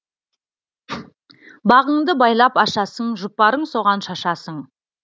бағыңды байлап ашасың жұпарың соған шашасың